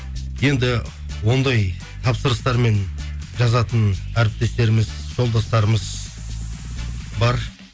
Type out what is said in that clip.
енді ондай тапсырыстармен жазатын әріптестеріміз жолдастарымыз бар